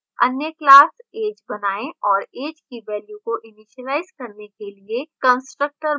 अन्य class age बनाएँ और age की value को इनिसीलाइज करने के लिए constructor बनाएँ